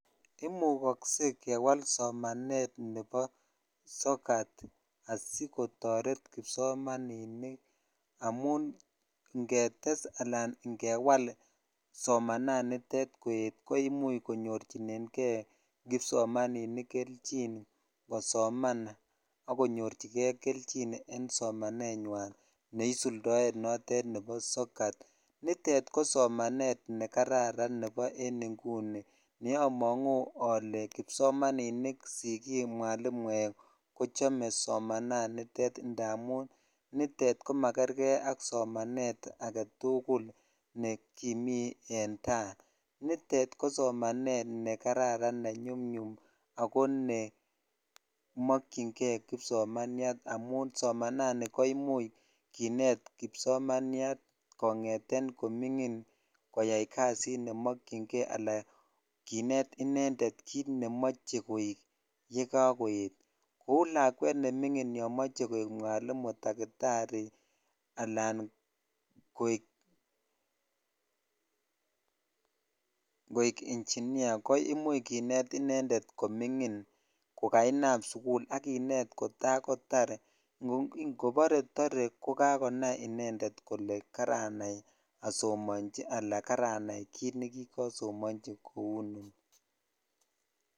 Imukokse kewal somanet nebo sokat asikotoret kipsomaninik amun ingetes alaan ingewal somananitet koet koimuch konyorchinenge kipsomaninik kelchin kosoman ak konyorchike kelchin en somanenywan neisuldoen notet nebo sokat, nitet ko somanet nekararn nebo en inguni neomongu olee kipsomaninik, sikik, mwalimuek kochome somananitet ndamun nitet komakerke ak somanet aketukul nekimii en taa, nitet ko somanet nekararan nenyumnyum ak ko ne mookyinge kipsomaniat amun somanani ko imuch kinet kipsomaniat kongeten komingin koyai kasit nemokyinge anan kinet inendet kiit nemoche koik yekokoet kouu lakwet nemingin yomoche koik mwalimu takitari alaan koik engineer koimuch kinet inendet koming'in ko kainam sukul ak kineet kotakotar, ingobore tore ko kakonai inendet kolee karanai asomonchi anan karanai kiit nekikosomonchi kou inoni.